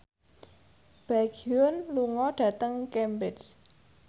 Baekhyun lunga dhateng Cambridge